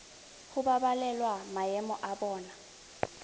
go babalela maemo a bona